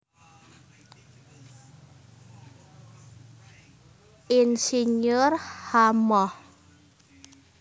Ir H Moh